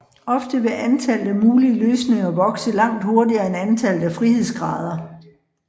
Ofte vil antallet af mulig løsninger vokse langt hurtigere end antallet af frihedsgrader